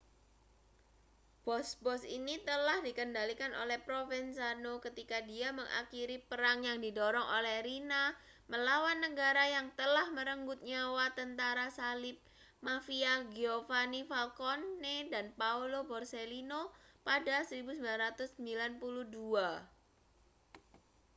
bos-bos ini telah dikendalikan oleh provenzano ketika dia mengakhiri perang yang didorong oleh riina melawan negara yang telah merenggut nyawa tentara salib mafia giovanni falcone dan paolo borsellino pada 1992